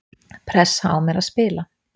Pressa á mér að spila